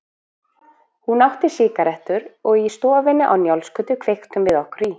Hún átti sígarettur og í stofunni á Njálsgötu kveiktum við okkur í.